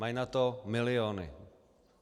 Mají na to miliony.